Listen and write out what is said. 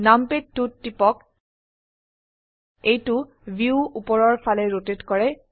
নামপাদ 2 ত টিপক এইটো ভিউ উপৰৰ ফালে ৰোটেট কৰে